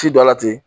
Ci dɔ la ten